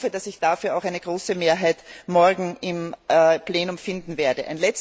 Ich hoffe, dass ich dafür auch eine große Mehrheit morgen im Plenum finden werde.